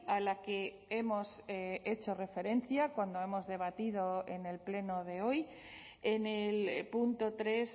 a la que hemos hecho referencia cuando hemos debatido en el pleno de hoy en el punto tres